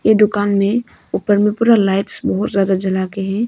ये दुकान में ऊपर में पूरा लाइट्स बहुत ज्यादा जला के है।